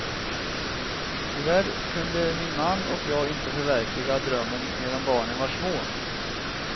Tyvärr kunde min man och jag inte förverkliga drömmen medan barnen var små.